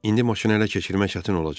İndi maşını hələ keçirmək çətin olacaq.